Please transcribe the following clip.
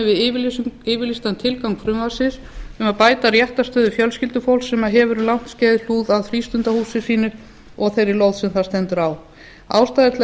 samræmi við yfirlýstan tilgang frumvarpinu um að bæta réttarstöðu fjölskyldufólks sem hefur um langt skeið hlúð að frístundahúsi sínu og þeirri lóð sem það stendur á ástæða er til að